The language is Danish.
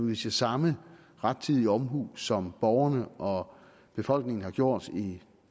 viser samme rettidige omhu som borgerne og befolkningen har gjort i den